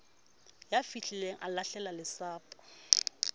ya fihlileng a lahlela lesapo